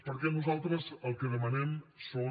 perquè nosaltres el que demanem són